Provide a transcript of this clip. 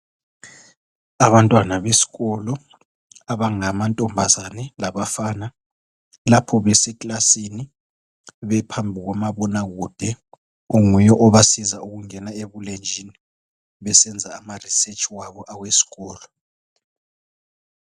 Abantwana besikolo, abangamantombazana labafana, lapha beseklasini.. Bephambi kukamabonakude, onguye obasiza ukungena ebulenjini. Besenza amaresearch abo, awesikolo,